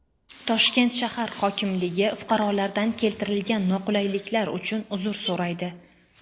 Toshkent shahar hokimligi fuqarolardan keltirilgan noqulayliklar uchun uzr so‘raydi.